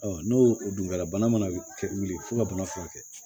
n'o o dun kɛra bana mana wuli fo ka bana furakɛ